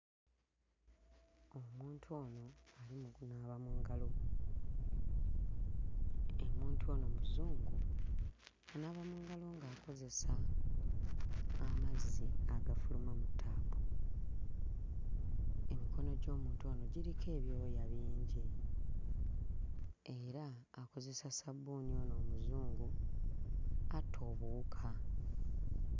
Omuntu ono ali mu kunaaba mu ngalo, omuntu ono Muzungu. Anaaba mu ngalo ng'akozesa amazzi agafuluma mu ttaapu, emikono gy'omuntu ono giriko ebyoya bingi era akozesa sabbuuni ono omuzungu atta obuwuka.